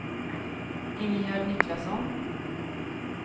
Ingegärd Niklasson